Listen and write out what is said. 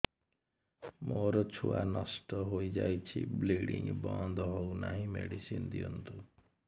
ମୋର ଛୁଆ ନଷ୍ଟ ହୋଇଯାଇଛି ବ୍ଲିଡ଼ିଙ୍ଗ ବନ୍ଦ ହଉନାହିଁ ମେଡିସିନ ଦିଅନ୍ତୁ